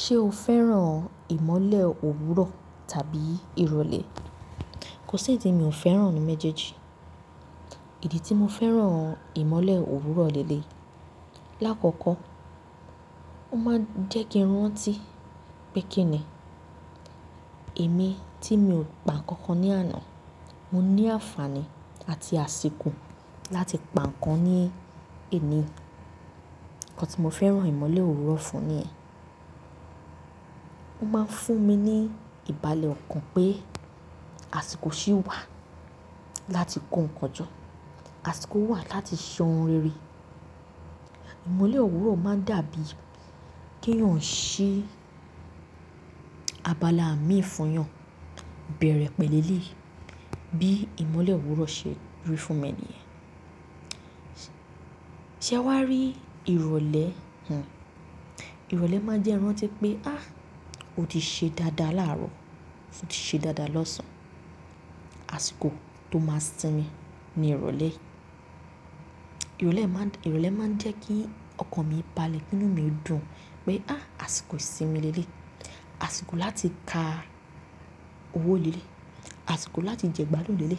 Ṣé o fẹ́ràn ìmọ́lẹ̀ òwúrọ̀ tàbí ìrọ̀lẹ́? Kò sí ẹyi tí mi ò fẹ́ràn nu méjèèjì. Ìdí tí mo fẹ́ràn ìmọ́lẹ̀ òwúrọ̀ léle. Láàkọ́kọ́, ó máa ń jẹ́ kí n rántí pé kíni èmi tí mi ò pa nǹkan ní àná, mo ní àǹfààní àti àsìkò láti pa nǹkan ní èní. Nǹkan tí mo fẹ́ràn ìmọ́lẹ̀ òwúrọ̀ fún ni ẹ. Ó máa ń fún mi ní ìbàlẹ̀ ọkàn pé àsìkò ṣì wà láti kó nǹkan jọ, àsìkò wà láti sọ ohun rere. Ìmọ́lẹ̀ òwúrọ̀ máa ń dàbí kí èèyàn ṣí abala mi fun eyan bẹ̀rẹ̀ pẹ̀leleyi bí ìmọ́lẹ̀ òwúrọ̀ ṣe rí fún mi nìyẹn. Ṣé wàá rí ìrọ̀lẹ́? Hìhù. Ìrọ̀lẹ́ máa ń jẹ́ ìrántí pé ah! Ó ti ṣe dáadáa láàrọ̀, ó ti ṣe dáadáa lọ́sàn-án. Àsìkò tó máa sinmi ni ìrọ̀lẹ́. Ìrọ̀lẹ́ máa ń jẹ́ kí ọkàn mi balẹ̀, kí inú mi dùn pé ah! Àsìkò ìsinmi léle, àsìkò láti ka owó léle, àsìkò láti jẹ gbádùn léle,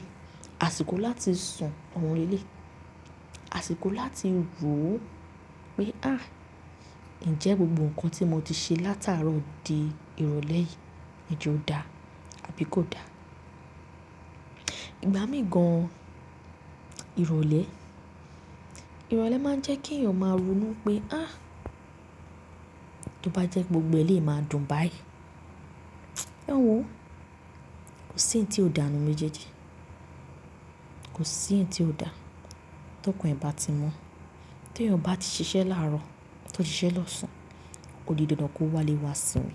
àsìkò láti sun ohun léle, àsìkò láti rò ó pé ah! Ǹjẹ́ gbogbo nǹkan tí mo ti ṣe látàárọ̀ dé ìrọ̀lẹ́ yìí hin je ó dá àbí kò da? Ìgbá mi gan-an ìrọ̀lẹ́. Ìrọ̀lẹ́ máa ń jẹ́ kí èèyàn máa ronú pé ah! Tí ó bá jẹ́ gbogbo eléè máa dùn báyìí. Ẹ̀wọ̀n o, kò sí ẹni tí ó dà ní méjèèjì. Kò sí ẹyi tí ó dà. Tí ọkàn ẹ bá ti mọ́, tí èèyàn bá ti ṣiṣẹ́ láàrọ̀, tó ti ṣiṣẹ́ lọ́sàn-án, o di dandan kó wá lé wa sími.